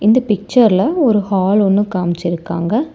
இந்த பிச்சர்ல ஒரு ஹால் ஒன்னு காமிச்சிருக்காங்க.